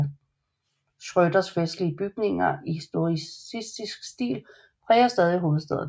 Schrøders festlige bygninger i historicistisk stil præger stadig hovedstaden